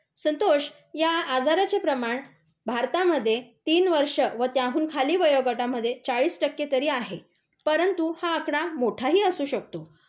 संतोष, या आजारचे प्रमाण भारतामध्ये तीन वर्ष व त्याखालील वयोगटामध्ये चाळीस टक्के तरी आहे. परंतु हा आकडा मोठही असू शकतो.